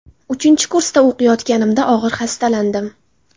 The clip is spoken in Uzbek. Uchinchi kursda o‘qiyotganimda og‘ir xastalandim.